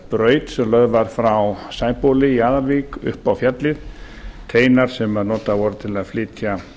braut sem lögð var frá sæbóli í aðalvík upp á fjallið teinar sem notaðir voru til að flytja